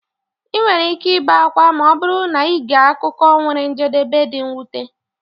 ị nwere ike ibe akwa ma ọ bụrụ na ị gee akụkọ nwere njedebe dị mwute.